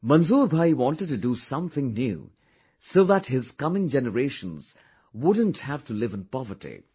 Manzoor bhai wanted to do something new so that his coming generations wouldn't have to live in poverty